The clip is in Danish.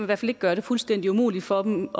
hvert fald ikke gøre det fuldstændig umuligt for dem